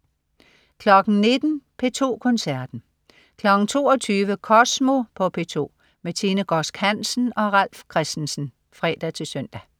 19.00 P2 Koncerten 22.00 Kosmo på P2. Tine Godsk Hansen og Ralf Christensen (fre-søn)